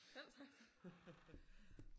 Selv tak da